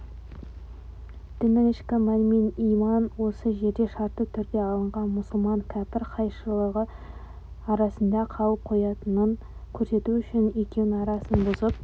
діннің ішкі мәні иман осы жерде шартты түрде алынған мұсылман кәпір қайшылығы арасында қалып қоятынын көрсету үшін екеуінің арасын бұзып